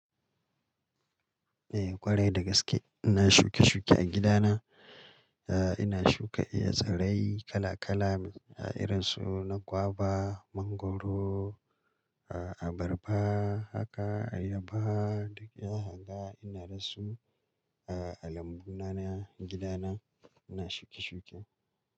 Eh ƙwarai dagaske. Ina shuke-shuke a gida na. Eh ina shuka eh tsirai kala-kala irin su na gwaba, mangwaro, ah abarba, haka ayaba duk zaka ga. Ina dasu ah lambu na, na gida na, ina shuke-shuke.